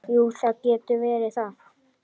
Jú, það getur verið það.